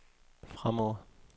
fremover